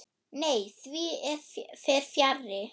Nei, því fer fjarri.